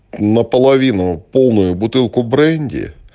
наполовину полную бутылку бренди